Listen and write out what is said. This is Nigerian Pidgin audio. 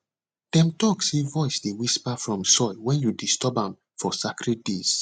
dem talk say voice dey whisper from soil when you disturb am for sacred days